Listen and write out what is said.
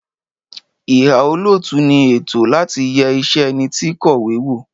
Ìhà -òlótú ni ẹtọ láti yẹ ìṣe ẹniti kọ̀wé wo